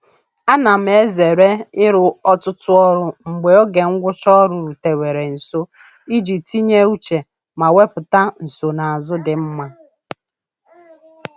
A na m ezere ịrụ ọtụtụ ọrụ mgbe oge ngwụcha ọrụ rutewere nso iji tinye uche ma wepụta nsonaazụ dị mma.